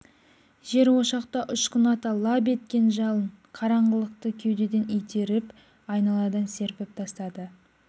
жер ошақта ұшқын ата лап еткен жалын қараңғылықты кеудеден итеріп айналадан серпіп тастады